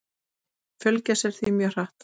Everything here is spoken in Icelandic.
Hann fjölgar sér því mjög hratt.